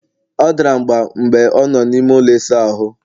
ọ dara mgba mgbe ọ nọ n'ime ụlọ ịsa ahụ